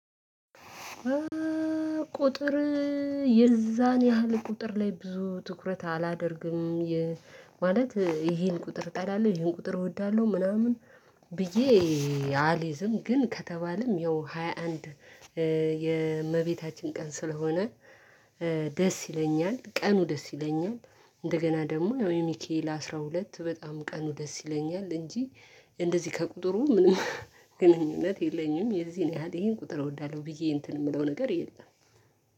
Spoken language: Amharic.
ቁጥር የዛን ያህል ቁጥር ላይ ብዙ ትኩረት አላደርግም። ማለት ይሄን ቁጥር ጠላለው ይሄን ቁጥር እወዳለሁ ምናምን ብዬ አልይዝም ግን ከተባለም ያው ሃያ አንድ የእመቤታችን ቀን ስለሆነ። ደስ ይለኛል ቀኑ ደስ ይለኛል እንደገና ደግሞ የሚክኤል አስራ ሁለት በጣም ቀኑ ደስ ይለኛል እንጂ። እንደዚህ ከቁጥሩ ምንም ግንኙነት የለኝም የዚህን ያህል ይሄን ቁጥር እወዳለሁ ብዬ እንትን የምለው ነገር የለም።